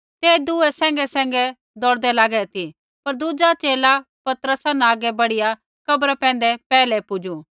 ते दुए सैंघैसैंघै दौड़दै लागै ती पर दुज़ा च़ेला पतरसा न हागै बढ़ीया कब्रा पैंधै पैहलै पुजू